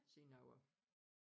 Siden jeg var